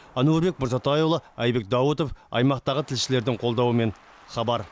әнуарбек мырзатайұлы әйбек даутов аймақтағы тілшілердің қолдауымен хабар